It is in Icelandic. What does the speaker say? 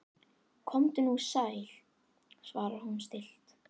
Komdu nú sæll, svarar hún stillt.